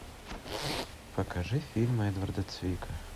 покажи фильм эдварда цвика